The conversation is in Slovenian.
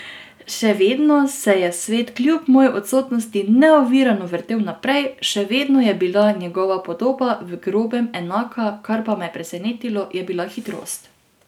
Še vedno se je svet kljub moji odsotnosti neovirano vrtel naprej, še vedno je bila njegova podoba v grobem enaka, kar pa me je presenetilo, je bila hitrost.